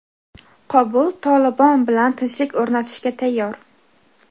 Qobul "Tolibon" bilan tinchlik o‘rnatishga tayyor.